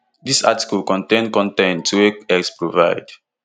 dis article contain con ten t wey x provide